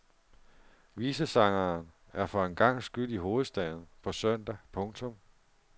Visesangeren er for en gangs skyld i hovedstaden på søndag. punktum